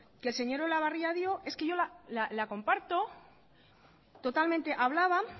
que el señor olabarria dio yo la comparto totalmente hablaba